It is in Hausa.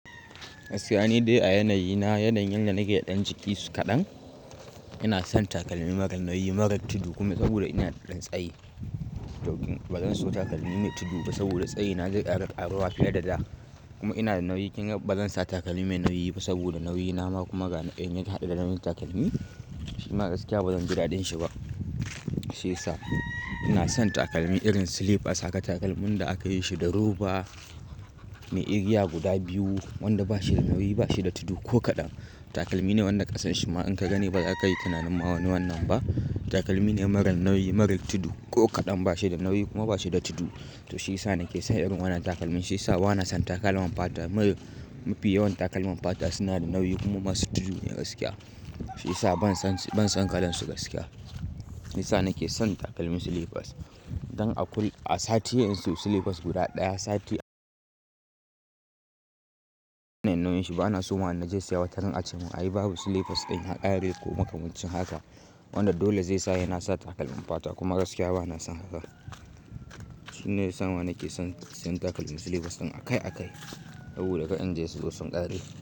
Gaskiya, ni dai a yanayi na yanayin yanda nake da ɗan jiki kaɗan. Ina son takalmi mara nauyi, mara tudu kuma saboda ina da ɗan tsayi. To ba zan so takalmi mai tudu ba saboda tsayi na zai ƙara ƙaruwa fiye da da. Kuma ina da nauyi, kin ga, ba zan sa takalmi mai nauyi ba saboda nauyi na ma kuma ga in ya haɗu da nauyin takalmi, shi ma gaskiya ba zan ji daɗin shi ba. Shi yasa ina son takalmi irin slippers, haka takalmin da aka yi shi da roba, mai igiya guda biyu, wanda ba shi da nauyi, ba shi da tudu ko kaɗan. Takalmi ne wannan ƙasan shi ma in ka gani ba za ka yi tunanin ma wani wannan ba. Takalmi ne mara nauyi, mara tudu ko kaɗan, ba shi da nauyi kuma ba shi da tudu. To shi yasa nake son irin wannan takalmin. Shi yasa ba na son takalman fata. Mafi yawan takalman fata suna da nauyi kuma masu tudu ne gaskiya. Shi yasa ban son, ban son kalan su gaskiya. Shiyasa nake son takalmi slippers. Don akwai, a sati yanzu slippers guda ɗaya sati. Nauyin shi, ba na so ma na je siya. Salon a ce mun, "Ai babu slippers ɗin yaƙare ko makamancin haka." Wanda dole zai sa se na sa takalmin fata kuma gaskiya ba na son haka. Shine ya sa nake son siyan takalmi slippers ɗin akai akai saboda ka in je store sun ƙare.